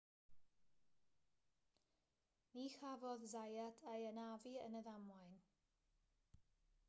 ni chafodd zayat ei anafu yn y ddamwain